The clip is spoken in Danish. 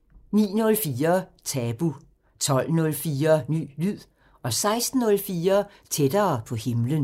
09:04: Tabu 12:04: Ny lyd 16:04: Tættere på himlen